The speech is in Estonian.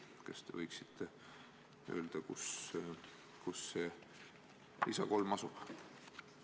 Kas te võiksite öelda, kus see lisa 3 asub?